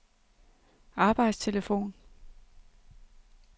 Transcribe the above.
arbejdstelefon